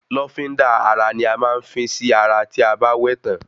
Lọ́fíndà ara ní a máa ń fín sí ara tí a bá wẹ tán